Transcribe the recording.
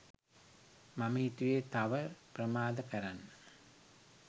මම හිතුවේ තව ප්‍රමාද කරන්න